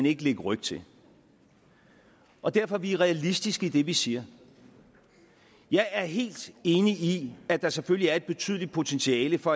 ikke lægge ryg til og derfor er vi realistiske i det vi siger jeg er helt enig i at der selvfølgelig er et betydeligt potentiale for